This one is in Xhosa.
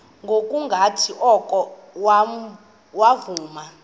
ngokungathi oko wavuma